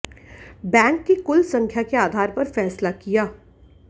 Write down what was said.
bank की कुल संख्या के आधार पर फैसला किया